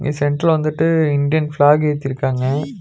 சென்ட்ல வந்துட்டு Indian flag ஏத்திருக்காங்க.